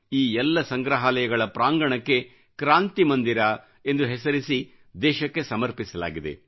ಈ ಎಲ್ಲ ಸಂಗ್ರಹಾಲಯಗಳ ಪ್ರಾಂಗಣಕ್ಕೆ ಕ್ರಾಂತಿ ಮಂದಿರಎಂದು ಹೆಸರಿಸಿ ದೇಶಕ್ಕೆ ಸಮರ್ಪಿಸಲಾಗಿದೆ